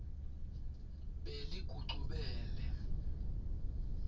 beligucubele